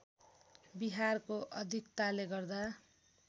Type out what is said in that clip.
विहारको अधिकताले गर्दा